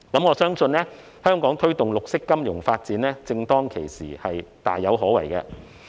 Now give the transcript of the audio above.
我相信香港推動綠色金融發展正當其時，是大有可為的。